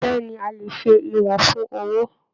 Bẹ̀ẹ́ni, a lè ṣe ìwọ̀n fún owó.